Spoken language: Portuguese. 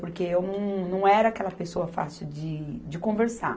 Porque eu não, não era aquela pessoa fácil de, de conversar.